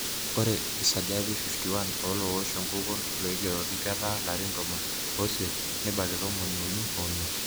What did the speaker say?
Ore esajati 51 olowosh enkukuo loigeroki ketaa larin tomon oisiet nebaiki tomoniuni omiet.